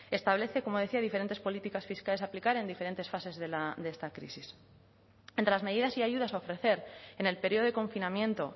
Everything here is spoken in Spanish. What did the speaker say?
establece como decía diferentes políticas fiscales a aplicar en diferentes fases de esta crisis entre las medidas y ayudas a ofrecer en el período de confinamiento